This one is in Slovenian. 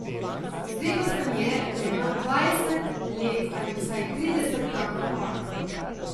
Zdelo se mi je, da imam dvajset let ali vsaj trideset kakor ona.